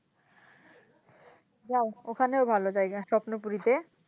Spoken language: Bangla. জাও ওখানেও ভালো জায়গা স্বপ্নপুরিতে।